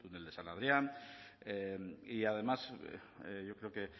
el de san adrián y además yo creo que